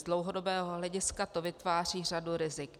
Z dlouhodobého hlediska to vytváří řadu rizik.